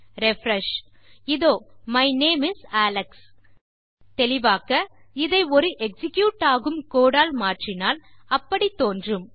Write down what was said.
refresh இதோ my name is Alex தெளிவாக்கஇதை ஒரு எக்ஸிக்யூட் ஆகும் கோடு ஆல் மாற்றினால் அப்படி தோன்றும்